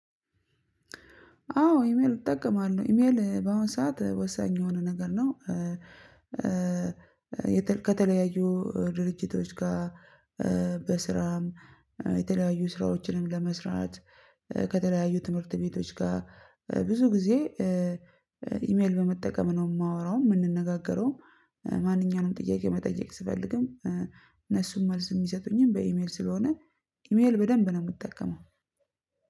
አዎ ኢሜል እጠቀማለሁ ኢሜል በአሁን ሰዓት ወሳኝ የሆነ ነገር ነው። ከተለያዩ ድርጅቶች ጋር። በስራም የተለያዩ ስራዎችን ለመስራት ከተለያዩ ትምህርት ቤቶች ጋር። ብዙ ጊዜ ኢሜል በመጠቀም ነው የማወራው የምነጋገረውም። ማንኛውውንም ጥያቄ መጠየቅ ስፈልግም እነሱም መልስ የሚሰቱኝም በኢሜል ስለሆነ። ኢሜል በደንብ ነው የምጠቀመው።